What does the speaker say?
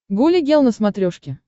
гуля гел на смотрешке